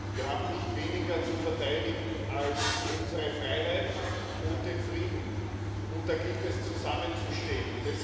Wir haben nicht weniger zu verteidigen als unsere Freiheit und den Frieden, und da gilt es zusammenzustehen.